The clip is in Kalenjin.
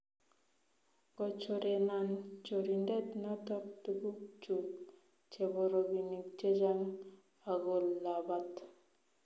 Kochorenan chorindet noto tuguk chuk chebo robinik chechang agolabat